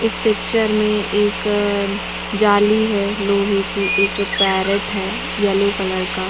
इस पिक्चर में एक जाली है लोहे की एक पैरट है येलो कलर का--